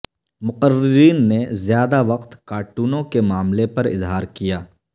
مقررین نے زیادہ وقت کارٹونوں کے معاملے پر اظہار کیا